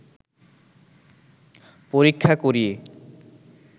পরীক্ষা করিয়ে